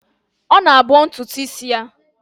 Ọ na-abọ ntụtụ isi ya.